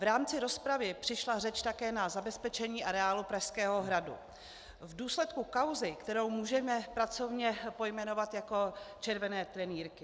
V rámci rozpravy přišla řeč také na zabezpečení areálu Pražského hradu v důsledku kauzy, kterou můžeme pracovně pojmenovat jako červené trenýrky.